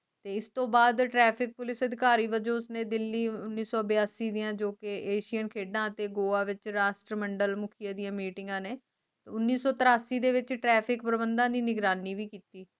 ਤੇ ਇਸਤੋਂ ਬਾਅਦ Traffic Police ਅਧਿਕਾਰੀ ਵੱਜੋ ਉਸਨੇ ਦਿੱਲੀ ਉਨੀ ਸੋ ਬਿਆਸੀ ਜੋ ਕਿ ਏਸ਼ੀਅਨ ਖੇਡਾਂ ਤੇ ਗੋਆ ਵਿਚ ਰਾਸ਼ਟਰੀਯ ਮੰਡਲ ਮੁਖਯ ਦੀਆ ਮੀਟਿੰਗ ਨੇ ਉਣੀ ਸੋ ਤੇਰਾਸੀ ਦੇ ਵਿਚ Traffic ਪ੍ਰਬੰਧਾਂ ਦੀ ਨਿਗਰਾਨੀ ਵੀ ਕੀਤੀ